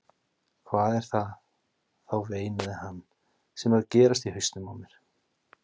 Hvað er það þá veinaði hann, sem er að gerast í hausnum á mér?